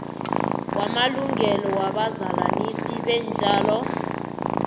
wamalungelo wabazalanisi beentjalo